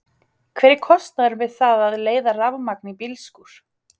Hver er kostnaðurinn við það að leiða rafmagn í bílskúr?